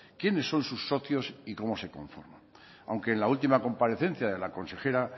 quiénes son sus socios y cómo se conforma aunque en la última comparecencia de la consejera